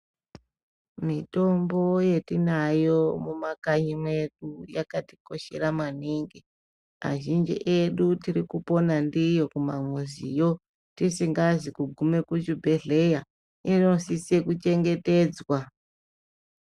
Mitombo yatinayo mumakanyi mwedu yakatikoshera maningi. Azhinji edu tirikupona ndiyo kumamizimwo tisingazi kugume kuzvibhedhlera. Inofanire kuchengetedzwa.